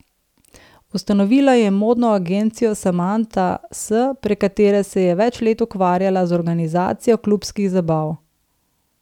Ustanovila je modno agencijo Samanta S, prek katere se je več let ukvarjala z organizacijo klubskih zabav.